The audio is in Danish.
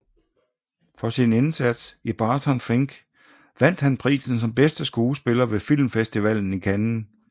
For sin indsats i Barton Fink vandt han prisen som bedste skuespiller ved filmfestivalen i Cannes